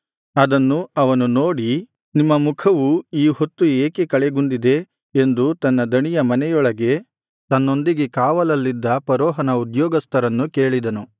ಅದನ್ನು ಅವನು ನೋಡಿ ನಿಮ್ಮ ಮುಖವು ಈ ಹೊತ್ತು ಏಕೆ ಕಳೆಗುಂದಿದೆ ಎಂದು ತನ್ನ ದಣಿಯ ಮನೆಯೊಳಗೆ ತನ್ನೊಂದಿಗೆ ಕಾವಲಲ್ಲಿದ್ದ ಫರೋಹನ ಉದ್ಯೋಗಸ್ಥರನ್ನು ಕೇಳಿದನು